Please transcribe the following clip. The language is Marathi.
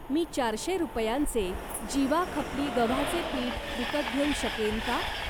मी चारशे रुपयांचे जिवा खपली गव्हाचे पीठ विकत घेऊ शकेन का?